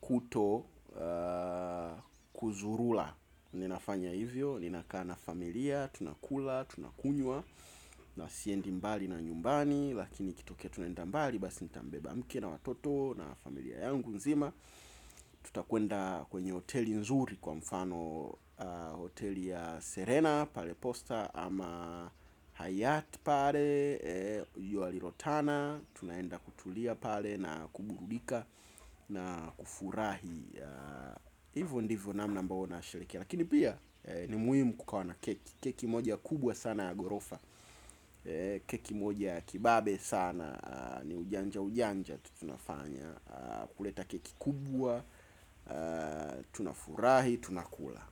kutokuzurula. Ninafanya hivyo, ninakaa na familia, tunakula, tunakunywa. Na siendi mbali na nyumbani. Lakini ikitokea tunaenda mbali, basi ntambeba mke na watoto na familia yangu nzima. Tutakwenda kwenye hoteli nzuri kwa mfano hoteli ya Serena. Pale Posta ama Haryat pale Yuali Rotana. Tunaenda kutulia pale na kuburudika. Na kufurahi. Hivo ndivo namna ambao na sherekea. Lakini pia ni muhimu kukawa na keki. Keki moja kubwa sana ya Gorofa. Keki moja ya Kibambe sana. Ni ujanja ujanja tu tunafanya. Kuleta keki kubwa. Tunafurahi, tunakula.